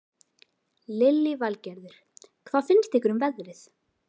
Lillý Valgerður: Hvað finnst ykkur um veðrið?